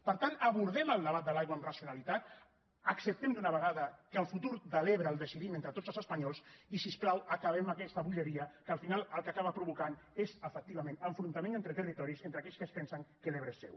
per tant abordem el debat de l’aigua amb racionalitat acceptem d’una vegada que el futur de l’ebre el decidim entre tots els espanyols i si us plau acabem aquesta bogeria que al final el que acaba provocant és efectivament enfrontaments entre territoris entre aquells que es pensen que l’ebre és seu